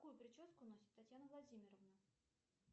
какую прическу носит татьяна владимировна